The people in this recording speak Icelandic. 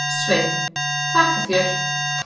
Sveinn: Þakka þér.